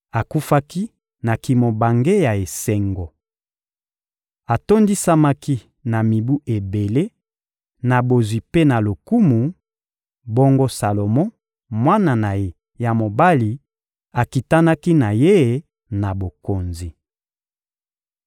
Akufaki na kimobange ya esengo. Atondisamaki na mibu ebele, na bozwi mpe na lokumu; bongo Salomo, mwana na ye ya mobali, akitanaki na ye na bokonzi.